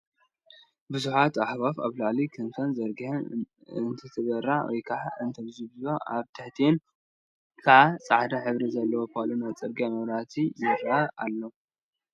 ብዙሓት ኣዕዋፍ ኣብላዕሊ ክንፈን ዘርጊሐን እንትበራ ወይከዓ እንተዣቭቫ ኣብ ትሕቲአን ከዓ ፃዕዳ ሕብሪ ዘለዎ ፖሎ ናይ ፅርግያ መብራህቲ ይረአዩ ኣለው፡፡